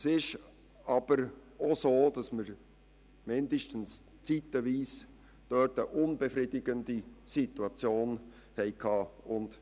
Es ist aber auch so, dass wir mindestens zeitweise eine unbefriedigende Situation hatten.